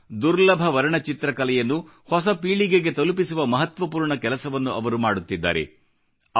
ಇಂಥ ದುರ್ಲಭ ವರ್ಣಚಿತ್ರಕಲೆಯನ್ನು ಹೊಸ ಪೀಳಿಗೆಗೆ ತಲುಪಿಸುವ ಮಹತ್ವಪೂರ್ಣ ಕೆಲಸವನ್ನು ಅವರು ಮಾಡುತ್ತಿದ್ದಾರೆ